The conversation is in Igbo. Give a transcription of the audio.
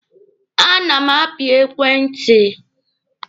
A na m api ekwentị.